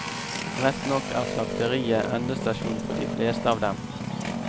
Rett nok er slakteriet endestasjon for de fleste av dem.